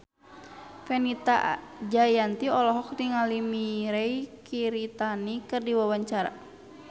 Fenita Jayanti olohok ningali Mirei Kiritani keur diwawancara